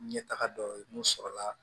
Ɲɛtaga dɔ ye mun sɔrɔla